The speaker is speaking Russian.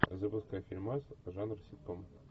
запускай фильмас жанр ситком